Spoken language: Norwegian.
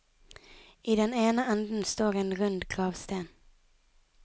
I den ene enden står en rund gravsten.